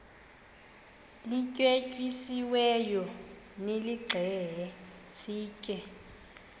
lityetyisiweyo nilixhele sitye